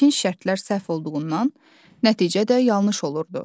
İlkin şərtlər səhv olduğundan nəticə də yanlış olurdu.